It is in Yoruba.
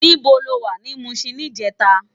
Nibó ló wá ni Mushin nijètá?